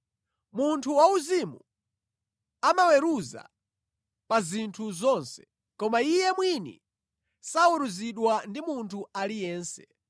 Munthu wauzimu amaweruza pa zinthu zonse, koma iye mwini saweruzidwa ndi munthu aliyense.